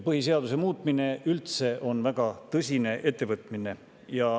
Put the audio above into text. Põhiseaduse muutmine on üldse väga tõsine ettevõtmine.